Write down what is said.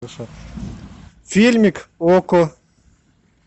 фильмик окко